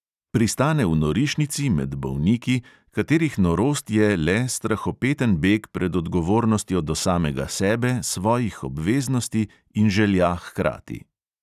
Pristane v norišnici, med bolniki, katerih norost je strahopeten beg pred odgovornostjo do samega sebe, svojih obveznosti in želja hkrati.